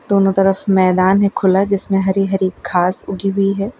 दोनों तरफ मैदान है खुला जिसमें हरी हरी घास उगी हुई है।